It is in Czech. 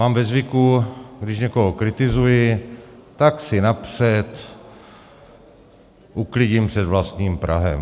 Mám ve zvyku, když někoho kritizuji, tak si napřed uklidím před vlastním prahem.